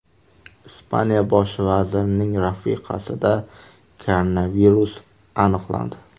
Ispaniya bosh vazirining rafiqasida koronavirus aniqlandi.